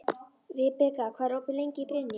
Vibeka, hvað er opið lengi í Brynju?